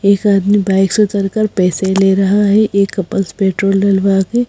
एक आदमी बाइक से उतरकर पैसे ले रहा है एक कपल्स पेट्रोल डलवा के--